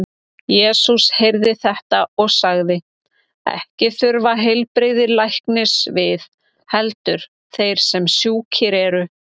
Jesús heyrði þetta og sagði: Ekki þurfa heilbrigðir læknis við, heldur þeir sem sjúkir eru.